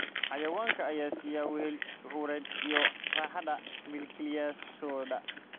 Xayawaanka ayaa siiya wehel shucuureed iyo raaxada milkiilayaashooda.